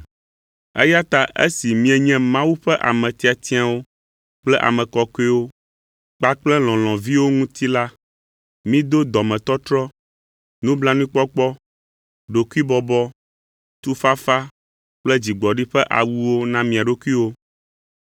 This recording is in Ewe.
Eya ta esi mienye Mawu ƒe ame tiatiawo kple ame kɔkɔewo kpakple lɔlɔ̃viwo ŋuti la, mido dɔmetɔtrɔ, nublanuikpɔkpɔ, ɖokuibɔbɔ, tufafa kple dzigbɔɖi ƒe awuwo na mia ɖokuiwo.